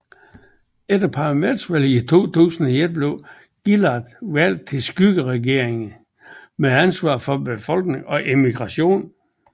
Efter parlamentsvalget i 2001 blev Gillard valgt til skyggeregeringen med ansvar for befolkning og immigration